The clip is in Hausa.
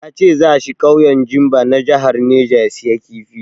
Ya ce za shi ƙauyen Zimba na jahar neja ya sayi kifi.